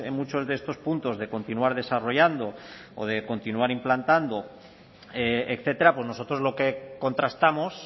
muchos de estos puntos de continuar desarrollando o de continuar implantando etcétera pues nosotros lo que contrastamos